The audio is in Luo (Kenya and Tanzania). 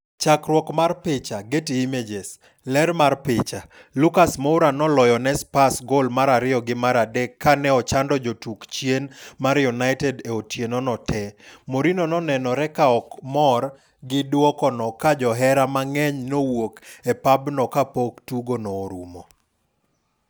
Chakruok mar picha, Getty Images. Ler mar picha, Lucas Moura noloyo ne Spurs gol mar ariyo gi maradek kane ochando jotuk chien mar United e otieno no tee. Mourinho nonenore ka ok mor gi duoko noka johera mang'eny nowuok e pabno kapok tugo no orumo.